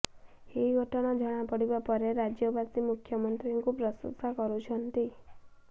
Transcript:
ଏହି ଘଟଣା ଜଣାପଡିବା ପରେ ରାଜ୍ୟବାସୀ ମୁଖ୍ୟମନ୍ତ୍ରୀଙ୍କୁ ପ୍ରଶଂସା କରିୁଛନ୍ତି